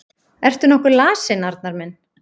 Ertu nokkuð lasinn, Arnar minn?